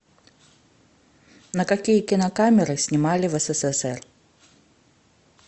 на какие кинокамеры снимали в ссср